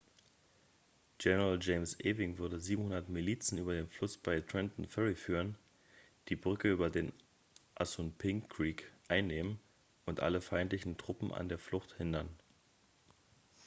general james ewing würde 700 milizen über den fluss bei trenton ferry führen die brücke über den assunpink creek einnehmen und alle feindlichen truppen an der flucht hindern